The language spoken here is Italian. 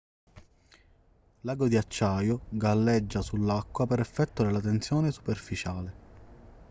l'ago di acciaio galleggia sull'acqua per effetto della tensione superficiale